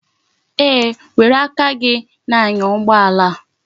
Eeh, were aka gi na-anya ugboala a.